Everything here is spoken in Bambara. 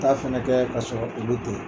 U ta fana kɛ ka sɔrɔ olu tɛ yen